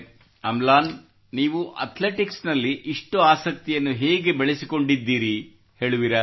ಅಮ್ಲಾನ್ ನೀವು ಅಥ್ಲೆಟಿಕ್ಸ ನಲ್ಲಿ ಇಷ್ಟು ಆಸಕ್ತಿಯನ್ನು ಹೇಗೆ ಬೆಳೆಸಿಕೊಂಡಿದ್ದೀರಿ ಹೇಳುವಿರಾ